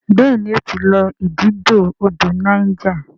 béèni o tí lọ ididò odò Niger.